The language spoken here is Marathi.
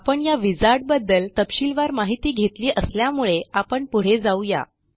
आपण या विझार्ड बद्दल तपशीलवार माहिती घेतली असल्यामुळे आपण पुढे जाऊ या